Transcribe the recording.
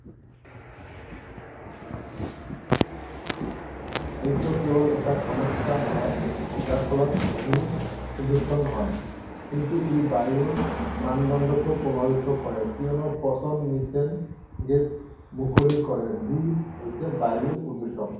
এইটো কেৱল এটা সমস্যা নহয় যাৰ ফলত ভূমি প্ৰদূষণ হয় কিন্তু ই বায়ুৰ মানদণ্ডকো প্ৰভাৱিত কৰে কিয়নো পচন মিথেন গেছ মুকলি কৰে যি হৈছে বায়ু প্ৰদূষক।